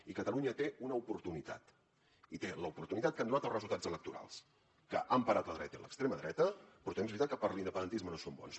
i catalunya té una oportunitat i té l’oportunitat que han donat els resultats electorals que han parat la dreta i l’extrema dreta però també és veritat que per a l’independentisme no són bons